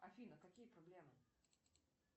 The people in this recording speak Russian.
афина какие проблемы